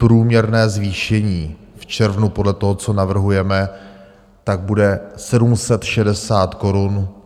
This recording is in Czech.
Průměrné zvýšení v červnu podle toho, co navrhujeme, tak bude 760 korun.